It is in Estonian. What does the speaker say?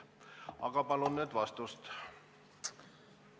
Aga palun nüüd vastust!